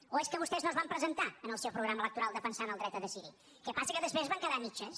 o és que vostès no es van presentar en el seu programa electoral defensant el dret a decidir el que passa que després es van quedar a mitges